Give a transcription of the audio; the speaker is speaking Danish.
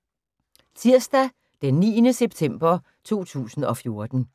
Tirsdag d. 9. september 2014